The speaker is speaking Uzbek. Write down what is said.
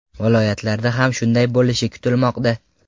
Viloyatlarda ham shunday bo‘lishi kutilmoqda .